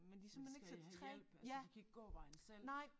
Men de skal have hjælp altså de kan ikke gå vejen selv